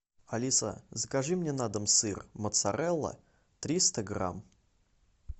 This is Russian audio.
алиса закажи мне на дом сыр моцарелла триста грамм